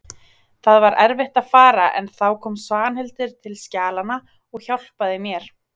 Það var erfitt að fara en þá kom Svanhildur til skjalanna og hjálpaði mér.